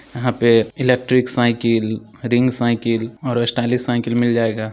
यहां पे electric cycle ring cycle और स्टाइलिश साइकिल मिल जाए--